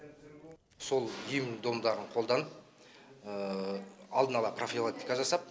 сол ем домдарын қоданып алдын ала прафилактика жасап